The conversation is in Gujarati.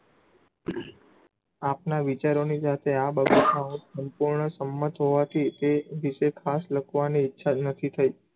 આપણાં વિચારોની જાતે આ સંપૂર્ણ સંમત હોવાથી કે વિષે ખાસ લખવાની ઈચ્છા જ નથી થયી.